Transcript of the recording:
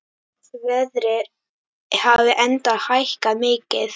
Verðið hafi enda hækkað mikið.